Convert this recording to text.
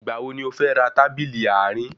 Ìgbà wo ni o fẹ́ ra tábìlì àárín?